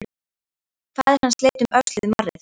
Faðir hans leit um öxl við marrið.